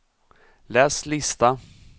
läs lista